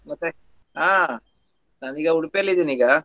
ಮತ್ತೆ ಹಾ ನಾನು ಈಗ Udupi ಯಲ್ಲಿ ಇದ್ದೀನಿ ಈಗ.